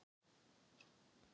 Það þarf stundum. Eina.